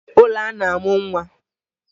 E nwere ụlọ a na-amụ nwa.